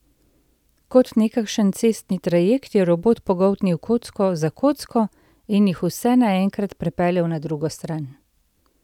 Kot nekakšen cestni trajekt je robot pogoltnil kocko za kocko in jih vse naenkrat prepeljal na drugo stran.